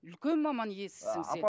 үлкен маман иесісің сен